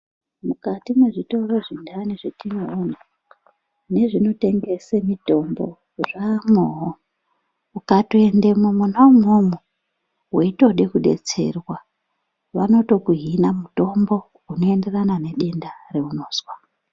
Mukati mwezvitoro zvendani zvatinoona nezvinotengese mitombo zvaamwoyo, ukatoende mwona imwomo weitode kudetserwa vanotoku hina mutombo unoenderana nedenda raunozwa.